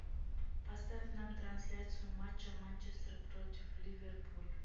поставь нам трансляцию матча манчестер против ливерпуль